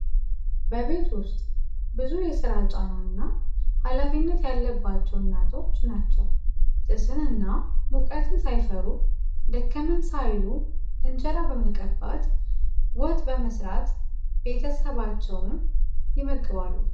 በቤት ውጥ ብዙ የስራ ጫና እና ሀላፊነት ያለባቸው እናቶች ናቸው። ጭስን እና ሙቀትን ሳይፈሩ ደከመን ሳይሉ እንጀራ በመቀባት ፣ወጥ በመስራ ቤተሰባቸውን ይመግባሉ።